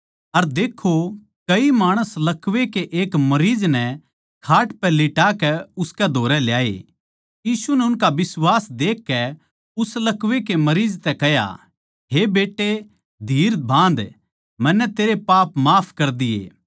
अर देक्खो कई माणस लकवै के एक मरीज नै खाट पै लिटा के उसकै धोरै ल्याए यीशु नै उनका बिश्वास देखकै उस लकवे के मरीज तै कह्या हे बेट्टे धीर बाँध मन्नै तेरे पाप माफ कर दिये